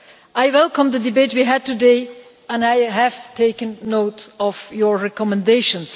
I welcome the debate we had today and I have taken note of your recommendations.